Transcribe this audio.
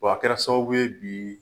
W'a kɛra sababu ye bi